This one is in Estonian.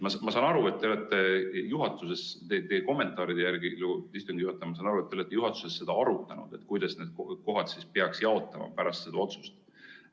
Ma saan teie kommentaaride järgi, istungi juhataja, aru, et te olete juhatuses seda arutanud, kuidas need kohad peaksid jaotama pärast seda otsust.